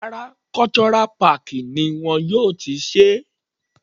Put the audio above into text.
Rárá, Cultural park ni wọn yóò ti ṣe é.